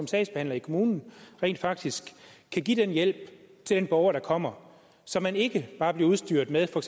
sagsbehandler i kommunen rent faktisk kan give den hjælp til den borger der kommer så man ikke bare bliver udstyret med for